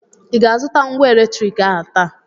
ị ga-azụta ngwa eletriki ahụ taa